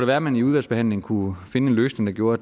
være at man i udvalgsbehandlingen kunne finde en løsning der gjorde